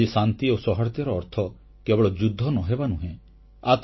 ଆଜି ଶାନ୍ତି ଓ ସୌହାର୍ଦ୍ଦ୍ୟର ଅର୍ଥ କେବଳ ଯୁଦ୍ଧ ନ ହେବା ନୁହେଁ